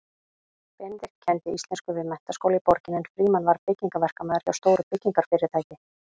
Benedikt kenndi íslensku við menntaskóla í borginni en Frímann var byggingaverkamaður hjá stóru byggingarfyrirtæki.